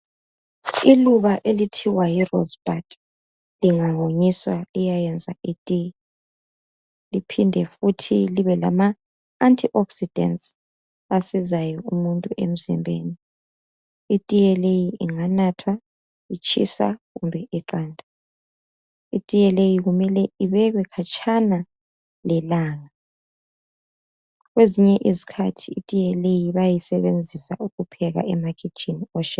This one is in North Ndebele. Iluba elithiwa yi rosebud, lingawonyiswa liyayenza itiye, liphinde futhi libe lama antioxidants asizayo umuntu emzimbeni. Itiye leyi inganathwa itshisa kumbe iqanda. Itiye leyi kumele ibekwe khatsha lelanga. Kwezinye izikhathi itiye leyi bayayisebenzisa ukupheka emakhitshini